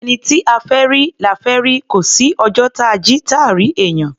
Ẹni tí a fẹ́ rí, la fẹ́ rí; kò sí ọjọ́ táa jí, táà rí èèyàn.